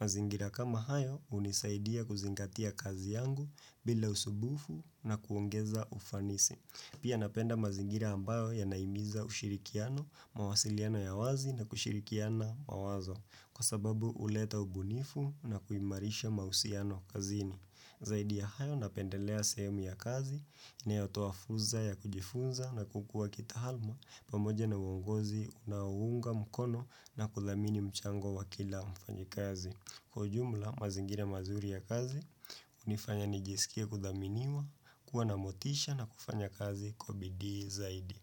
Mazingira kama hayo hunisaidia kuzingatia kazi yangu bila usumbufu na kuongeza ufanisi. Pia napenda mazingira ambayo ya nahimiza ushirikiano, mawasiliano ya wazi na kushirikiana mawazo. Kwa sababu huleta ubunifu na kuimarisha mausiano kazini. Zaidi ya hayo na pendelea sehemu ya kazi, inayotoafursa ya kujifunza na kukua kitaaalma pamoja na uongozi, unaunga mkono na kudhamini mchango wa kila mfanyi kazi. Kwa jumla mazingira mazuri ya kazi, hunifanya nijisikia kudhaminiwa, kuwa na motisha na kufanya kazi kubidii zaidi.